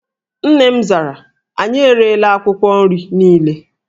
Nne m zara, anyị erela akwụkwọ nri niile